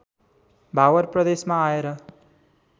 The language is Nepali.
भावर प्रदेशमा आएर